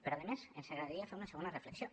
però a més ens agradaria fer una segona reflexió